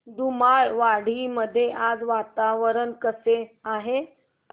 धुमाळवाडी मध्ये आज वातावरण कसे आहे